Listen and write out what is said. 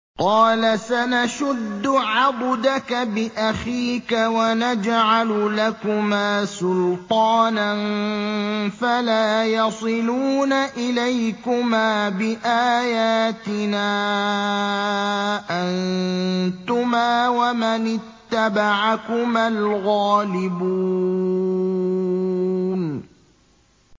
قَالَ سَنَشُدُّ عَضُدَكَ بِأَخِيكَ وَنَجْعَلُ لَكُمَا سُلْطَانًا فَلَا يَصِلُونَ إِلَيْكُمَا ۚ بِآيَاتِنَا أَنتُمَا وَمَنِ اتَّبَعَكُمَا الْغَالِبُونَ